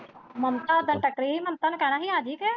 ਮਮਤਾ ਉਸ ਦਿਨ ਟੱਕਰੀ ਹੀ ਮਮਤਾ ਨੂੰ ਕਹਿਣਾ ਹੀ ਆਜੀ ਤੂੰ।